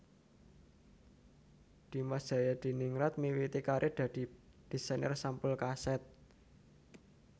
Dimas Djayadiningrat miwiti karir dadi desainer sampul kaset